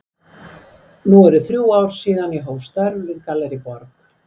Nú eru þrjú ár síðan ég hóf störf við Gallerí Borg.